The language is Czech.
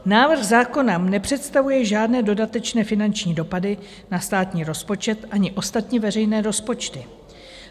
Návrh zákona nepředstavuje žádné dodatečné finanční dopady na státní rozpočet ani ostatní veřejné rozpočty.